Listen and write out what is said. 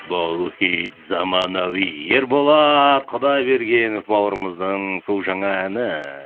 бұл хит заманауи ерболат құдайбергенов бауырымыздың су жаңа әні